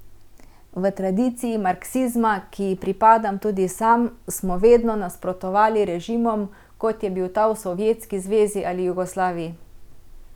V tradiciji marksizma, ki ji pripadam tudi sam, smo vedno nasprotovali režimom, kot je bil ta v Sovjetski zvezi ali Jugoslaviji.